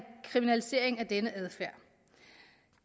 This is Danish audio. kriminalisering af denne adfærd